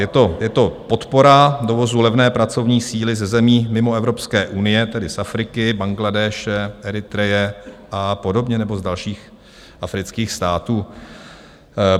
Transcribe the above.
Je to podpora dovozu levné pracovní síly ze zemí mimo Evropské unie, tedy z Afriky, Bangladéše, Eritreje a podobně nebo z dalších afrických států?